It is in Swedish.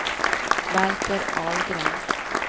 Valter Ahlgren